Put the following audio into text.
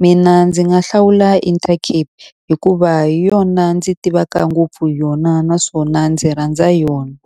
Mina ndzi nga hlawula Intercape hikuva hi yona ndzi tivaka ngopfu hi yona, naswona ndzi rhandza yona.